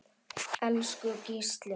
Elsku Gísli.